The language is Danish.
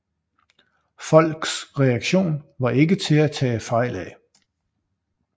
Folks reaktion var ikke til at tage fejl af